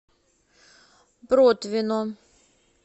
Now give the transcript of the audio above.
протвино